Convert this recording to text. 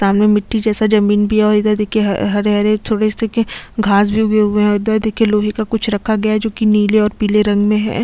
सामने मिटटी जैसा जमींन भी है और उधर देखिये हरे- हरे छोटे हिस्से के घांस भी उगे हुए है और इधर देखिये लोहे का कुछ रखा गया है जो की नीले और पिले रंग में है।